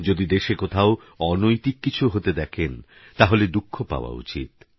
যদি দেশে কোথাও অনৈতিক কিছু হতে দেখেন তাহলে দুঃখ পাওয়া উচিত